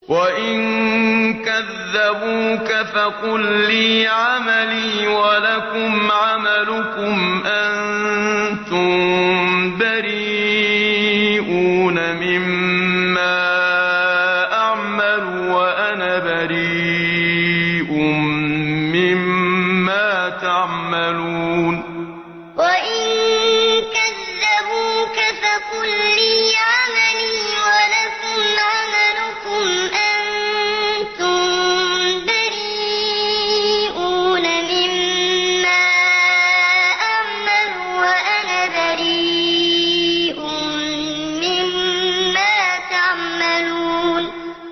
وَإِن كَذَّبُوكَ فَقُل لِّي عَمَلِي وَلَكُمْ عَمَلُكُمْ ۖ أَنتُم بَرِيئُونَ مِمَّا أَعْمَلُ وَأَنَا بَرِيءٌ مِّمَّا تَعْمَلُونَ وَإِن كَذَّبُوكَ فَقُل لِّي عَمَلِي وَلَكُمْ عَمَلُكُمْ ۖ أَنتُم بَرِيئُونَ مِمَّا أَعْمَلُ وَأَنَا بَرِيءٌ مِّمَّا تَعْمَلُونَ